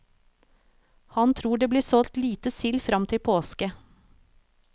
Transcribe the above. Han tror det blir solgt lite sild frem til påske.